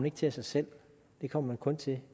ikke til af sig selv det kommer man kun til